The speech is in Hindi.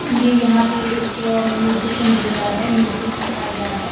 ये यहां पे एक म्यूसिशन दिख रहा है म्यूजिक चल रहा है।